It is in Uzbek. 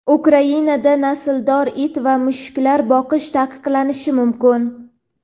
Ukrainada nasldor it va mushuklar boqish taqiqlanishi mumkin.